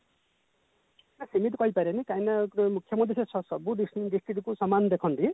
ଆଁ ସେମିତି କହି ପାରିବାନି କାହିଁକି ନା ଗୋଟେ ମୁଖ୍ୟମନ୍ତ୍ରୀ ସବୁ district କୁ ସମାନ ଦେଖନ୍ତି